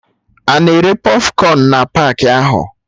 Ana ere pọfkọn na paakị ahụ?